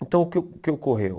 Então o que o que ocorreu?